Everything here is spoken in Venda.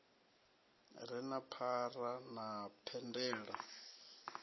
re na phara na phendelo